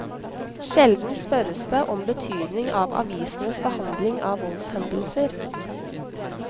Sjelden spørres det om betydning av avisenes behandling av voldshendelser.